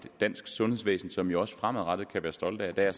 dansk sundhedsvæsen som vi også fremadrettet kan være stolte af der er